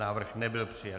Návrh nebyl přijat.